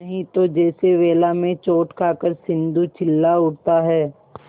नहीं तो जैसे वेला में चोट खाकर सिंधु चिल्ला उठता है